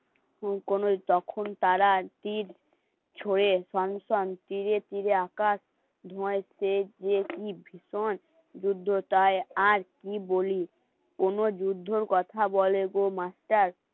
তখন তারা ছোঁড়ে ফাংশন তীরে তীরে সময় যে যুদ্ধ তাই আর কি বলি কোনো যুদ্ধর কথা বলে গো মাস্টার